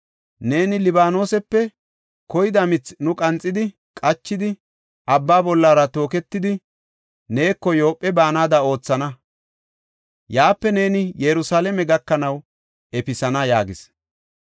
Neeni Libaanosepe koyida mithi nu qanxidi qachidi, abba bollara tooketidi, neeko Yoophe baanada oothana. Yaape neeni Yerusalaame gakanaw efisana” yaagis.